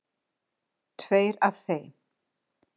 Tveir af þeim